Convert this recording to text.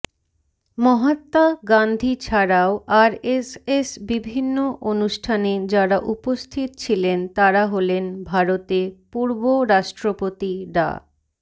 মহাত্মা গান্ধী ছাড়াও আরএসএস বিভিন্ন অনুষ্ঠানে যারা উপস্থিত ছিলেন তারা হলেন ভারতে পূর্ব রাষ্ট্রপতি ডা